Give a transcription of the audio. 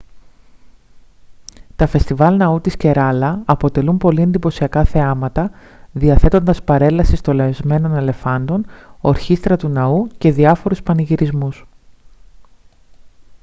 τα φεστιβάλ ναού της κεράλα αποτελούν πολύ εντυπωσιακά θεάματα διαθέτοντας παρέλαση στολισμένων ελεφάντων ορχήστρα του ναού και διάφορoυς πανηγυρισμούς